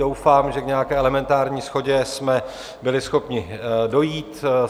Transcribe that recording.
Doufám, že k nějaké elementární shodě jsme byli schopni dojít.